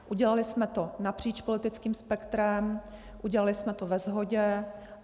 Udělali jsme to napříč politickým spektrem, udělali jsme to ve shodě.